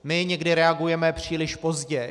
My někdy reagujeme příliš pozdě.